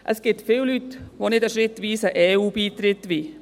Es gibt viele Leute, die keinen schrittweisen EU-Beitritt wollen.